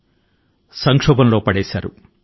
కష్టాల అగాధం అంచు కు నెట్టి వేశారు